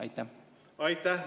Aitäh!